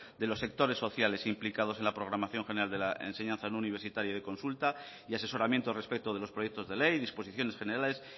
de los sectores sociales implicados en la programación general de la enseñanza no universitaria y de consulta y asesoramiento respecto de los proyectos de ley disposiciones generales